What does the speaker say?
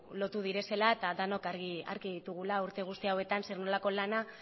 lotu direla eta denok argi ditugula urte guzti hauetan zer nolako lana